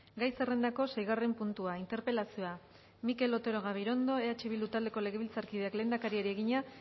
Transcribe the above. gai zerrendako seigarren puntua interpelazioa mikel otero gabirondo eh bildu taldeko legebiltzarkideak lehendakariari egina